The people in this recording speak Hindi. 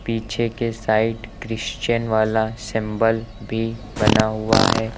पीछे के साइड क्रिश्चियन वाला सिंबल भी बना हुआ है।